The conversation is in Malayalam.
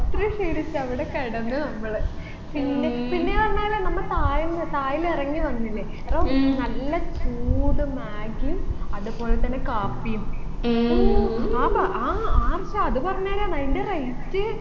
അത്രയും ക്ഷീണിച്ച് അവിടെ കിടന്നു നമ്മൾ പിന്നെ പിന്നെന്ന് പറഞ്ഞാല് നമ്മ താഴേന്ന് താഴിൽ ഇറങ്ങി വന്നിന് അന്നരം നല്ല ചൂട് മാഗ്ഗിയും അതുപോലെ തന്നെ കാപ്പിയും ഹൂ ആ ആർഷാ പറഞ്ഞേരാന്ന് അയിൻെറ rate